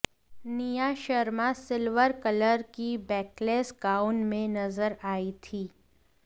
निया Sharma silver colour की backless gown में नजर आई थी